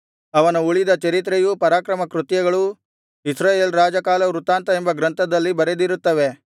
ಅವನ ಉಳಿದ ಚರಿತ್ರೆಯೂ ಪರಾಕ್ರಮಕೃತ್ಯಗಳೂ ಇಸ್ರಾಯೇಲ್ ರಾಜಕಾಲವೃತ್ತಾಂತ ಎಂಬ ಗ್ರಂಥದಲ್ಲಿ ಬರೆದಿರುತ್ತವೆ